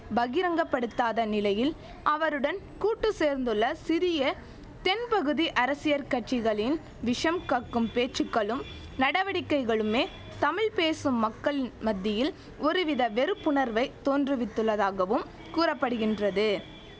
பகிரங்கப்படுத்தாத நிலையில் அவருடன் கூட்டு சேர்ந்துள்ள சிறிய தென்பகுதி அரசியற் கட்சிகளின் விஷம் கக்கும் பேச்சுக்களும் நடவடிக்கைகளுமே தமிழ் பேசும் மக்கள் மத்தியில் ஒருவித வெறுப்புணர்வை தோன்றுவித்துள்ளதாகவும் கூற படுகின்றது